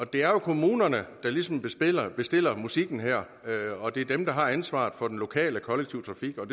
det er jo kommunerne der ligesom bestiller bestiller musikken her og det er dem der har ansvaret for den lokale kollektive trafik og